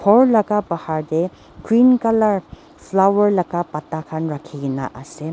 ghor laga bahar te green colour flower laga pata khan rakhi kene ase.